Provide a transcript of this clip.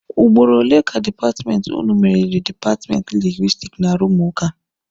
Ugboro ole ka dipatmenti ụnụ meriri dipatmenti Lingwisitiki n'arụmụka.